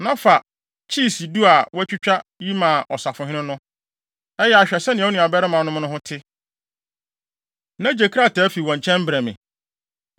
Na fa kyiisi du a wɔatwitwa yi ma ɔsafohene no. Ɛyɛ a hwɛ sɛnea wo nuabarimanom no ho te, na gye krataa fi wɔn nkyɛn brɛ me.